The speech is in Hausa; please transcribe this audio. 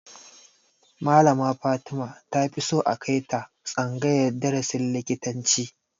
Malama Fatima ta fi so a kai ta tsangayar darasin likitanci